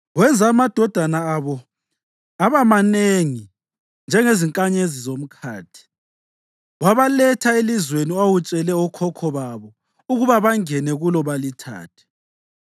Wenza amadodana abo aba manengi njengezinkanyezi zomkhathi, wabaletha elizweni owawutshele okhokho babo ukuba bangene kulo balithathe.